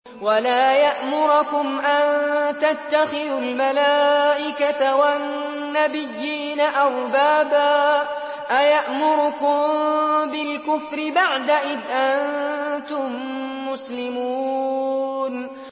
وَلَا يَأْمُرَكُمْ أَن تَتَّخِذُوا الْمَلَائِكَةَ وَالنَّبِيِّينَ أَرْبَابًا ۗ أَيَأْمُرُكُم بِالْكُفْرِ بَعْدَ إِذْ أَنتُم مُّسْلِمُونَ